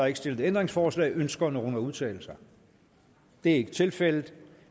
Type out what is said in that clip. ikke stillet ændringsforslag ønsker nogen at udtale sig det er ikke tilfældet